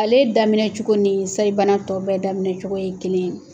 Ale daminɛ cogo nin sayibana tɔ bɛɛ daminɛ cogo ye kelen ye.